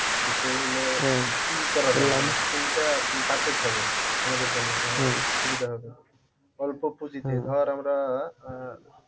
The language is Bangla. যে তোর হল কোনটা আরকি perfect হবে আমাদের জন্যে মানে সুবিধা হবে অল্প পুজিতে ধর আমরা আহ